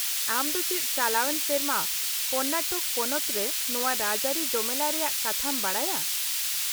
-ᱟᱢ ᱫᱚ ᱪᱮᱫ ᱪᱟᱞᱟᱣᱮᱱ ᱥᱮᱨᱢᱟ ᱠᱚᱨᱱᱟᱴᱚᱠ ᱯᱚᱱᱚᱛ ᱨᱮ ᱱᱚᱶᱟ ᱨᱟᱡᱽᱼᱟᱹᱨᱤ ᱡᱚᱢᱮᱞᱟᱭ ᱨᱮᱭᱟᱜ ᱠᱟᱛᱷᱟᱢ ᱵᱟᱰᱟᱭᱟ ?